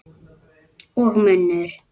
Og munnur